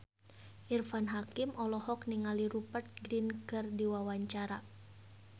Irfan Hakim olohok ningali Rupert Grin keur diwawancara